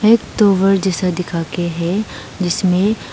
एक टावर दिखा के है जिसमे--